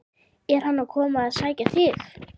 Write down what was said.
Er hann að koma að sækja þig?